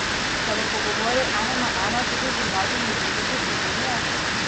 Se bo pogovoril ena na ena tudi z Mladimi zdravniki Slovenije?